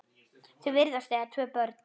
Þau virðast eiga tvö börn.